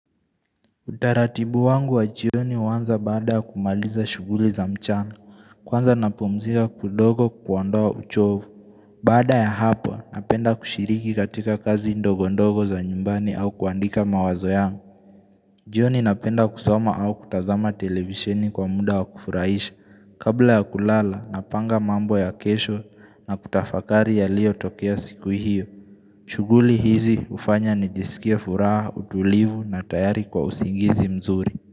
Utaratibu wangu wa jioni wanza baada ya kumaliza shuguli za mchana Kwanza napumzika kidogo kuondowa uchovu Baada ya hapo napenda kushiriki katika kazi ndogondogo za nyumbani au kuandika mawazo yangu jioni napenda kusoma au kutazama televisheni kwa muda wa kufurahisha Kabla ya kulala napanga mambo ya kesho na kutafakari ya liyo tokea siku hiyo shuguli hizi ufanya nijisikia furaha, utulivu na tayari kwa usingizi mzuri.